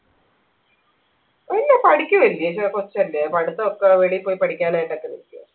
ഇല്ല പഠിക്കുവല്ലേ ചെറിയ കൊച്ചല്ലേ പഠിത്തക്കെ വെളിയിൽ പോയി പഠിക്കാനായി